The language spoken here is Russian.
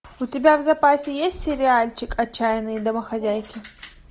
у тебя в запасе есть сериальчик отчаянные домохозяйки